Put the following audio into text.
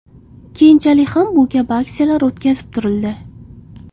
Keyinchalik ham bu kabi aksiyalar o‘tkazib turildi.